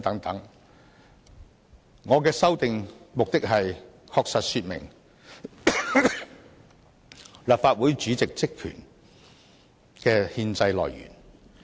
我提出修訂的目的，是訂明立法會主席職權的憲制來源。